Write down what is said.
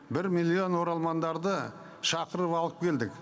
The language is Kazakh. бір миллион оралмандарды шақырып алып келдік